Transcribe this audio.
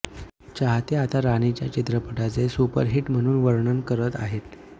चाहते आता राणीच्या चित्रपटाचे सुपरहिट म्हणून वर्णन करत आहेत